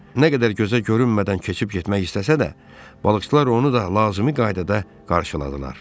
Nə qədər gözə görünmədən keçib getmək istəsə də, balıqçılar onu da lazımi qaydada qarşıladılar.